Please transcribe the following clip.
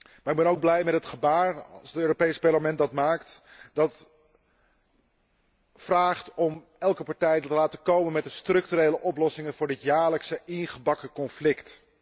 Maar ik ben ook blij met het gebaar, als het Europees Parlement dat maakt, om elke partij te laten komen met de structurele oplossingen voor dit jaarlijkse ingebakken conflict.